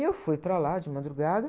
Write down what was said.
E eu fui para lá de madrugada.